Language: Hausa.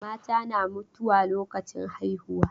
Mata na mutuwa lokacin haihuwa.